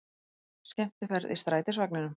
Skemmtiferð í strætisvagninum